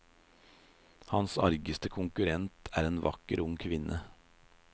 Hans argeste konkurrent er en vakker ung kvinne.